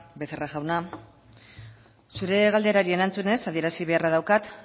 becerra jauna zure galderari erantzunez adierazi beharra daukat